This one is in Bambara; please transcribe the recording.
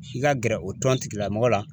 I ka gɛrɛ o tɔn tigi lamɔgɔ la.